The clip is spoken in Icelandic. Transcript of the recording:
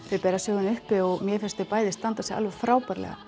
uppi og mér finnst þau bæði standa sig frábærlega